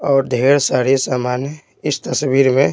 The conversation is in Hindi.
और ढेर सारे सामान है इस तस्वीर में--